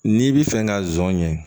N'i bi fɛ ka zon ɲɛ